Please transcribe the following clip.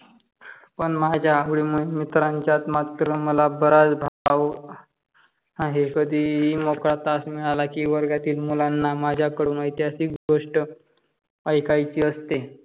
पण माझ्या आवडिमूळे मित्रांचात मात्र मला बऱ्याच भाव आहे. कधीही मोक तास मिळाला की वर्गातील मुलांना माझाकडून येतीहासिक गोष्ट एकायचि असते.